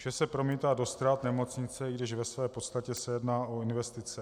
Vše se promítá do ztrát nemocnice, i když ve své podstatě se jedná o investice.